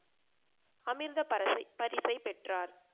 அமிர்த பரசை பரிசை பெற்றார்